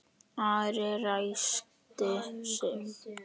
Ari ræskti sig.